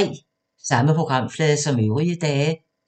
Samme programflade som øvrige dage